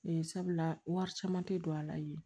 Ee sabula wari caman tɛ don a la yen